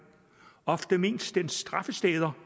— ofte mest dens straffesteder